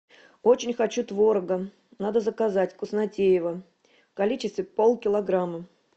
очень хочу творога надо заказать вкуснотеево в количестве полкилограмма